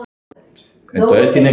Veist allt.